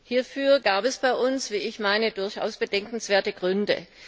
Hierfür gab es bei uns, wie ich meine, durchaus bedenkenswerte Gründe.